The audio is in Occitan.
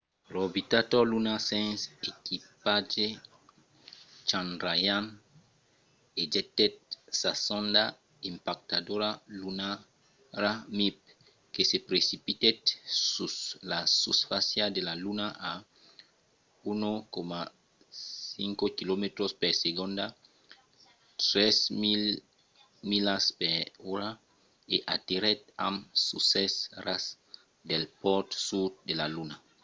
l’orbitador lunar sens equipatge chandrayaan-1 ejectèt sa sonda impactadora lunara mip que se precipitèt sus la susfàcia de la luna a 1,5 quilomètres per segonda 3 000 milas per ora e aterrèt amb succès a ras del pòl sud de la luna